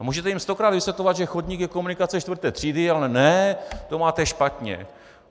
A můžete jim stokrát vysvětlovat, že chodník je komunikace čtvrté třídy - ale ne, to máte špatně.